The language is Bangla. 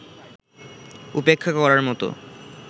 উপেক্ষা করার মতো